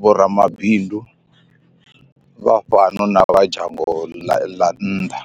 vho ramabindu vha fhano na vha dzhango la nnḓa.